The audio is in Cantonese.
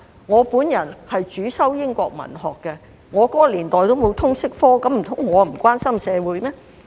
我主修英國文學，那個年代並沒有通識科，難道我便不關心社會嗎？